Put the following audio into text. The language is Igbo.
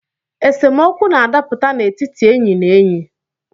Esemokwu na-adaputa n’etiti enyi na enyi